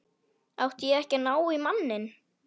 Átti ég ekki að ná í manninn?